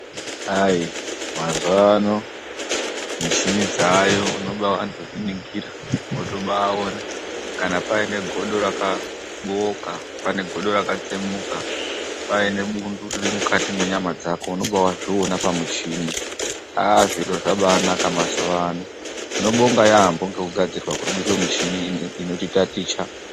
Mazuvano mushini dzaayo unobandozviningira wotobaone ,kana pane godo rakabooka ,pane godo rakatsemuka ,paine bundu riri mukati menyama dzako unobazvione pamushini .Zviro zvabaanaka mazuva ano .Tinobonga yaamo nekugadzirwa kwemushini inoticha ticha.